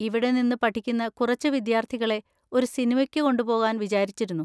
ഇവിടെ നിന്ന് പഠിക്കുന്ന കുറച്ച് വിദ്യാർത്ഥികളെ ഒരു സിനിമയ്ക്ക് കൊണ്ടുപോവാൻ വിചാരിച്ചിരുന്നു.